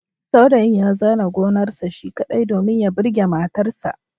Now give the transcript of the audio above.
Saurayin ya zare gonarsa shi kaɗai, domin ya burge matarsa